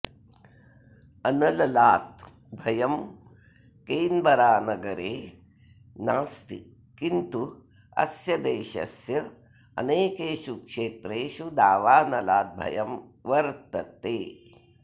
अनललात् भयं केन्बरानगरे नास्ति किन्तु अस्य देशस्य अनेकेषु क्षेत्रेषु दावानलात् भयं वर्तते